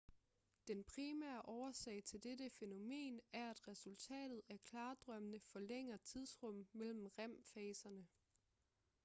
den primære årsag til dette fænomen er at resultatet af klardrømmene forlænger tidsrummet mellem rem-faser